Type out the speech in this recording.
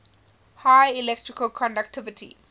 high electrical conductivity